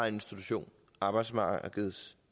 institution arbejdsmarkedets